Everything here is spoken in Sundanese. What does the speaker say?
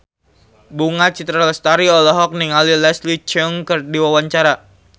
Bunga Citra Lestari olohok ningali Leslie Cheung keur diwawancara